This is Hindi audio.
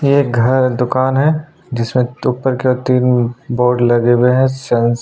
एक घर दुकान है जिसमें तू करके तीन बोर्ड लगे हुए हैं।